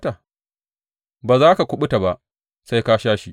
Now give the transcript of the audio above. Ba za ka kuɓuta ba, sai ka sha shi.